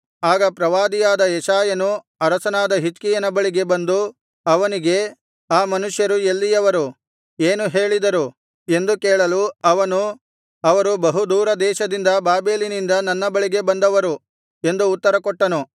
ಆಗ ಪ್ರವಾದಿಯಾದ ಯೆಶಾಯನು ಅರಸನಾದ ಹಿಜ್ಕೀಯನ ಬಳಿಗೆ ಬಂದು ಅವನಿಗೆ ಆ ಮನುಷ್ಯರು ಎಲ್ಲಿಯವರು ಏನು ಹೇಳಿದರು ಎಂದು ಕೇಳಲು ಅವನು ಅವರು ಬಹುದೂರ ದೇಶದಿಂದ ಬಾಬೆಲಿನಿಂದ ನನ್ನ ಬಳಿಗೆ ಬಂದವರು ಎಂದು ಉತ್ತರಕೊಟ್ಟನು